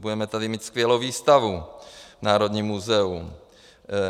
Budeme tady mít skvělou výstavu v Národním muzeu.